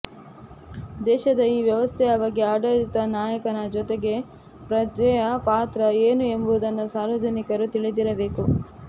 ದೇಶದ ಈ ವ್ಯವಸ್ಥೆಯ ಬಗ್ಗೆ ಆಡಳಿತ ನಾಯಕನ ಜೊತೆಗೆ ಪ್ರಜೆಯ ಪಾತ್ರ ಏನು ಎಂಬುದನ್ನು ಸಾರ್ವಜನಿಕರು ತಿಳಿದಿರಬೇಕು